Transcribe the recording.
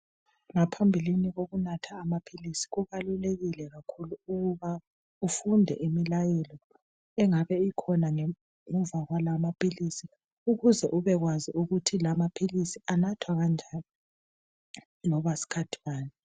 Ngaphambilini lokunatha amaphilisi kubalulekile kakhulu ukuba ufunde imilayelo engabe ikhona ngemuva kwala amaphilisi ukuze ubekwazi ukuthi lamaphilisi anathwa kanjani loba sikhathi sikhathi bani.